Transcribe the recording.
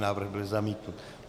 Návrh byl zamítnut.